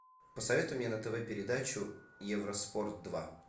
посоветуй мне на тв передачу евроспорт два